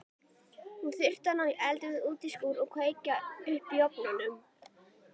Hún þurfti að ná í eldivið út í skúr og kveikja upp í ofnunum.